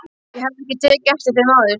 Ég hafði ekki tekið eftir þeim áður.